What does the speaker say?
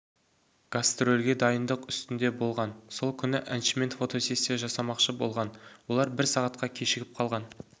гастрольге дайындық үстінде болған сол күні әншімен фотосессия жасамақшы болған олар бір сағатқа кешігіп қалған